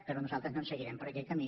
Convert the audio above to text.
però nosaltres no seguirem per aquest camí